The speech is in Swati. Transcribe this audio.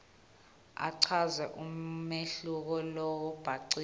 achaze umehluko lobhacile